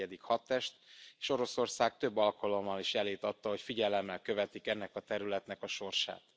14. hadtest, és Oroszország több alkalommal is jelét adta, hogy figyelemmel követik ennek a területnek a sorsát.